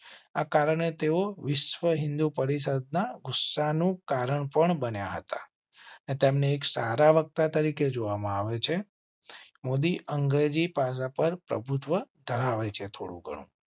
આ કારણે તેઓ વિશ્વ હિંદુ પરિષદના ગુસ્સા નું કારણ પણ બન્યા હતા. તેમને એક સારા વક્તા તરીકે જોવા માં આવે છે. મોદી અંગ્રેજી ભાષા પર પ્રભુત્વ ધરાવે છે. થોડું ગણું